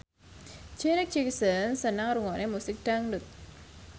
Janet Jackson seneng ngrungokne musik dangdut